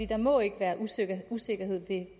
der må ikke være usikkerhed usikkerhed ved